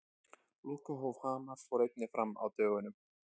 Lokahóf Hamars fór einnig fram á dögunum.